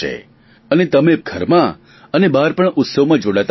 અને તમે પણ ઘરમાં પણ બહાર પણ ઉત્સવમાં જોડાતા હશો